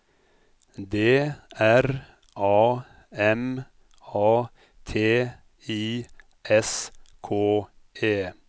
D R A M A T I S K E